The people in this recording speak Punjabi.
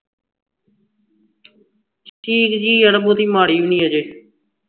ਠੀਕ ਜੀ ਯਾਰ ਬਹੁਤੀ ਮਾੜੀ ਵੀ ਨਹੀਂ ਅਜੇ